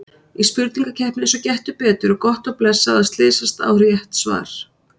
Í spurningakeppni eins og Gettu betur er gott og blessað að slysast á rétt svar.